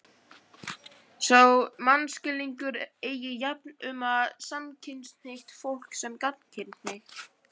Sá mannskilningur eigi jafnt við um samkynhneigt fólk sem gagnkynhneigt.